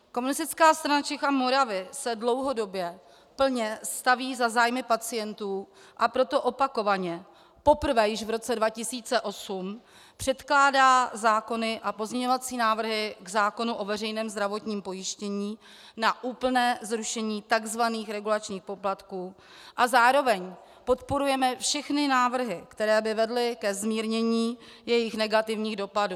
Komunistická strana Čech a Moravy se dlouhodobě plně staví za zájmy pacientů, a proto opakovaně - poprvé již v roce 2008 - předkládá zákony a pozměňovací návrhy k zákonu o veřejném zdravotním pojištění na úplné zrušení tzv. regulačních poplatků a zároveň podporujeme všechny návrhy, které by vedly ke zmírnění jejich negativních dopadů.